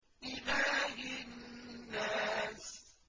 إِلَٰهِ النَّاسِ